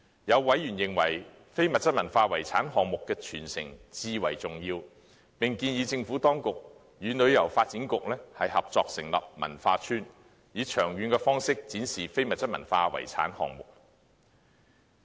有委員認為非物質文化遺產項目的傳承至為重要，並建議政府當局與香港旅遊發展局合作成立文化邨，以長遠方式展示非物質文化遺產項目。